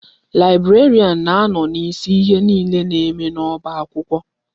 Laibrarian na-anọ n'isi ihe niile na-eme n'ọba akwụkwọ.